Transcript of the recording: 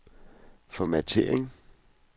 formattering